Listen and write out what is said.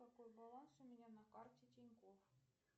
какой баланс у меня на карте тинькофф